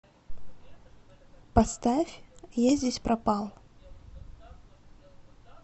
поставь я здесь пропал